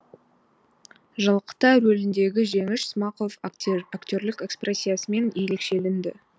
жалқытай рөліндегі жеңіш смақов актерлік экспрессиясымен ерекшеленді